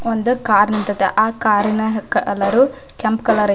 ಒಂದು ಕಾರ್ ನಿಂತೈತಿ ಆಹ್ಹ್ ಕಾರ್ ನ ಕಲರ್ ಕೆಂಪ್ ಕಲರ್ ಐತಿ --